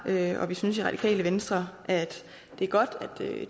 jeg og vi synes i radikale venstre at det er godt at